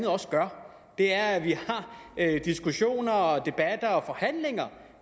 også gør er at vi har diskussioner og debatter og forhandlinger